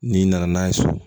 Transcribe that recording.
N'i nana n'a ye so